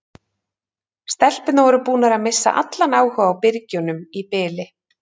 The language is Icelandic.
Stelpurnar voru búnar að missa allan áhuga á byrgjunum í bili.